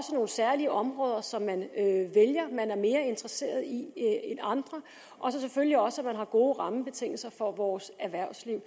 nogle særlige områder som man at man er mere interesseret i end andre og selvfølgelig også gode rammebetingelser for vores erhvervsliv